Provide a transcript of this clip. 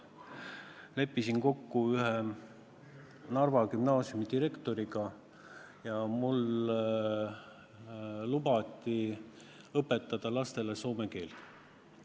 Ma leppisin kokku ühe Narva gümnaasiumi direktoriga ja mul lubati õpetada lastele soome keelt.